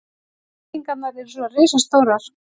Byggingarnar eru svo risastórar.